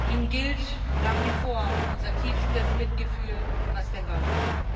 Ihnen gilt nach wie vor unser tiefstes Mitgefühl was denn sonst?